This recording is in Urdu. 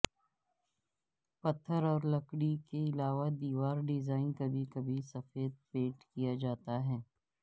پتھر اور لکڑی کے علاوہ دیوار ڈیزائن کبھی کبھی سفید پینٹ کیا جاتا ہے